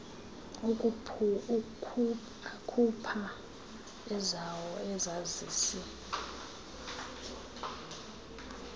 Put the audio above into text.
akhupha ezawo izazisi